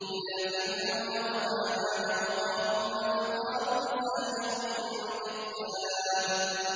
إِلَىٰ فِرْعَوْنَ وَهَامَانَ وَقَارُونَ فَقَالُوا سَاحِرٌ كَذَّابٌ